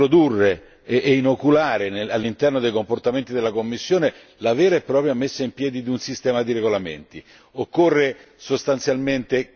È un ottimo lavoro che dovrebbe introdurre e inoculare all'interno dei comportamenti della Commissione la vera e propria messa in piedi di un sistema di regolamenti.